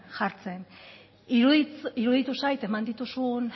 jartzen iruditu zait eman dituzun